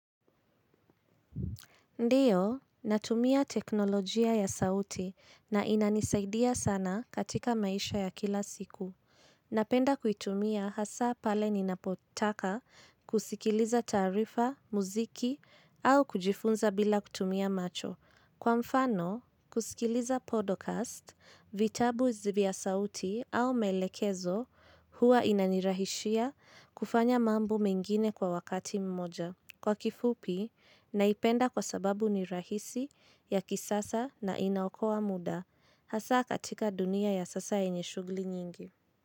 Ndiyo, natumia teknolojia ya sauti na inanisaidia sana katika maisha ya kila siku. Napenda kuitumia hasa pale ninapotaka kusikiliza taarifa, muziki au kujifunza bila kutumia macho. Kwa mfano, kusikiliza podcast, vitabu vya sauti au maelekezo huwa inanirahisishia kufanya mambo mengine kwa wakati mmoja. Kwa kifupi, naipenda kwa sababu ni rahisi ya kisasa na inaokowa muda, hasa katika dunia ya sasa enye shughuli nyingi.